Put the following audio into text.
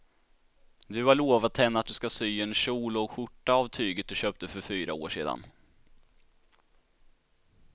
Du har lovat henne att du ska sy en kjol och skjorta av tyget du köpte för fyra år sedan.